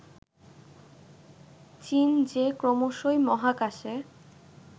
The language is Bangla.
চীন যে ক্রমশই মহাকাশে